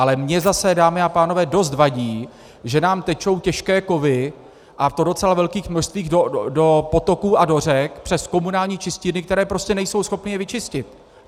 Ale mně zase, dámy a pánové, dost vadí, že nám tečou těžké kovy, a to v docela velkých množstvích, do potoků a do řek přes komunální čistírny, které prostě nejsou schopny je vyčistit.